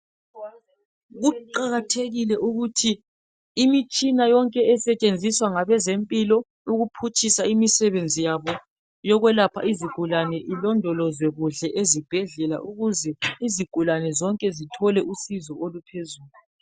Kuqakathekile ukuthi imitshina yonke esetshenziswa ngabezempilo ukuphutshisa imisebenzi yabo yokwelapha izigulane ilondolozwe kuhle ezibhedlela ukuze izigulane zonke zithole usizo oluphezulu.